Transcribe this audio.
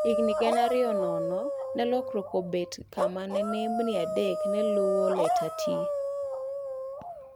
Higa gana ariyo nono ne lokruok obet kama ne nembni adek ne lueo leta T